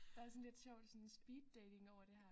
Der er sådan lidt sjovt sådan speeddating over det her